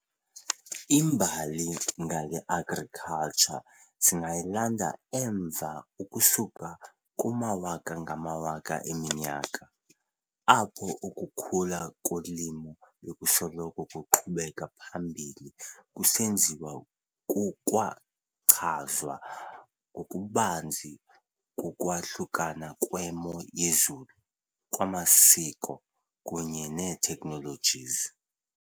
Imbali ngale Agriculture singayilanda emva ukusuka kumawaka-ngamawaka eminyaka, apho ukukhula kolimo bekusoloko kuqhubeka phambili kusenziwa kukwachazwa ngokubanzi kukwahlukana kwemo yezulu, kwamasiko, kunye nee-technologies.